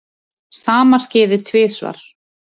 Sama skeði tvisvar.